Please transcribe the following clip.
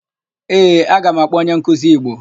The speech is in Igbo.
Ee, aga m akpọ onyenkuzi Igbo.